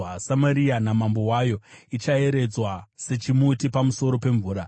Samaria namambo wayo ichaeredzwa sechimuti pamusoro pemvura.